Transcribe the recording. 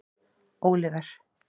Óliver